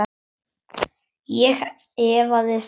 Ég efaðist aldrei.